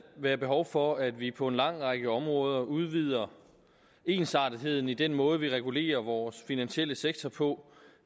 være behov for at vi på en lang række områder udvider ensartetheden i den måde vi regulerer vores finansielle sektor på